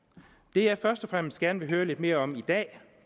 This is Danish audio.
det jeg først og fremmest gerne vil høre lidt mere om i dag